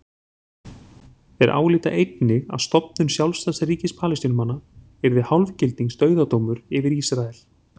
Þeir álíta einnig að stofnun sjálfstæðs ríkis Palestínumanna yrði hálfgildings dauðadómur yfir Ísrael.